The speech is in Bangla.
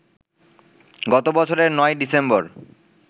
গত বছরের ৯ই ডিসেম্বর